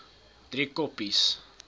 driekoppies